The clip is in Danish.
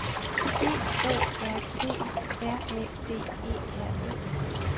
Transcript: B O R T R A D E R E